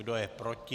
Kdo je proti?